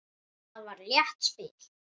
Það var létt spil.